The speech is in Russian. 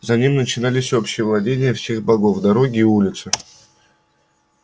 за ним начинались общие владения всех богов дороги и улицы